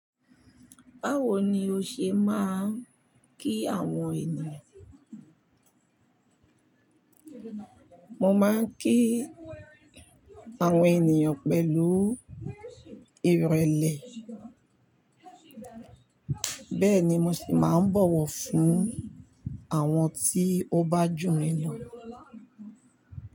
Báwo ni o ṣe máa ń kí àwọn ènìyàn? Mo máa ń kí àwọn ènìyàn pẹ̀lú ìrẹ̀lẹ̀, bẹ́ẹ̀ ni mo sì máa ń bọ̀wọ̀ fún àwọn tí ó bá jù mi lọ.